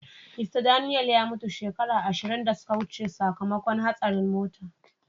Mista Daniel ya mutu shekaru ashirin da suka wuce sakamakon hastarin mota.